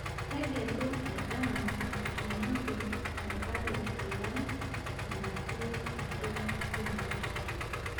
Tegelu endaa natushumaki tenkare alang' enatii atua shumbi.